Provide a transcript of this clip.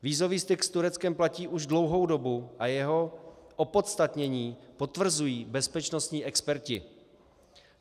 Vízový styk s Tureckem platí už dlouhou dobu a jeho opodstatnění potvrzují bezpečnostní experti.